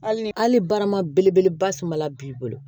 Hali ni hali barama belebeleba samala b'i bolo